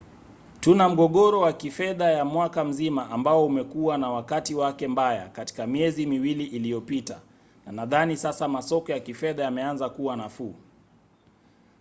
tuna mgogoro wa kifedha ya mwaka mzima ambao umekuwa na wakati wake mbaya katika miezi miwili iliyopita na nadhani sasa masoko ya kifedha yameanza kuwa nafuu.